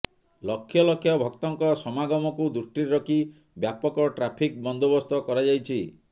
ଲକ୍ଷ ଲକ୍ଷ ଭକ୍ତଙ୍କ ସମାଗମକୁ ଦୃଷ୍ଟିରେ ରଖି ବ୍ୟାପକ ଟ୍ରାଫିକ ବନ୍ଦୋବସ୍ତ କରାଯାଇଛି